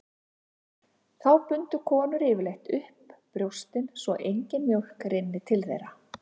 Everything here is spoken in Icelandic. Þá bundu konur yfirleitt upp brjóstin svo engin mjólk rynni til þeirra.